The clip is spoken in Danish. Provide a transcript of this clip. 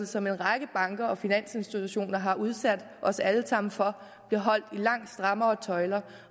som en række banker og finansinstitutter har udsat os alle sammen for bliver holdt i langt strammere tøjler